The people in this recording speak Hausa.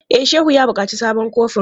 E, Shehu ya buƙaci sabon kofin.